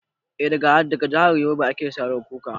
Eh, daga jahar yobe ake saro kuka